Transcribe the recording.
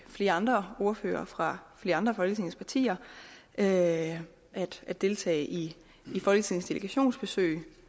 flere andre ordførere fra flere andre af folketingets partier af at deltage i folketingets delegationsbesøg